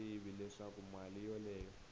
swi tivi leswaku mali yoleyo